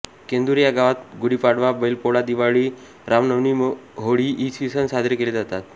केंदूर या गावात गुढीपाडवा बैलपोळा दिवाळी रामनवमीहोळी इ सण साजरे केले जातात